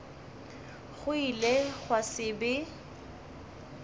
go ile gwa se be